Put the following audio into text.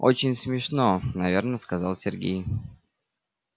очень смешно наверно сказал сергей